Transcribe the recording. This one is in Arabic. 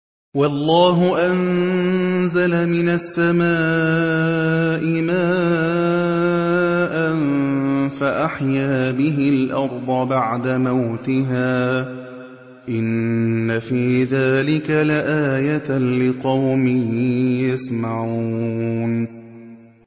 وَاللَّهُ أَنزَلَ مِنَ السَّمَاءِ مَاءً فَأَحْيَا بِهِ الْأَرْضَ بَعْدَ مَوْتِهَا ۚ إِنَّ فِي ذَٰلِكَ لَآيَةً لِّقَوْمٍ يَسْمَعُونَ